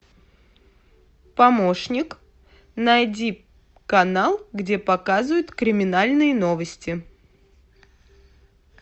помощник найди канал где показывают криминальные новости